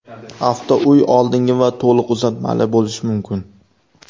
Avtouy oldingi va to‘liq uzatmali bo‘lishi mumkin.